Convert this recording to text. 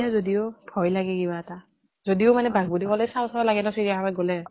যদিও ভয় লাগে কিবা এটা। যদিও মানে বাঘ বুলি কলে চাওঁ চাওঁ লাগে ন চিৰীয়াখানাত গলে